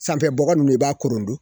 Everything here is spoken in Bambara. Sanfɛbɔgɔ ninnu i b'a korondon